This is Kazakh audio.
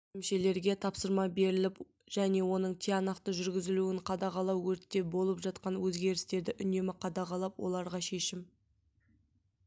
бөлімшелерге тапсырма беріліп және оның тиянақты жүргізілуін қадағалау өртте болып жатқан өзгерістерді үнемі қадағалап оларға шешім